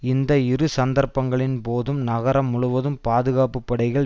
இந்த இரு சந்தர்ப்பங்களின் போதும் நகரம் முழுவதும் பாதுகாப்பு படைகள்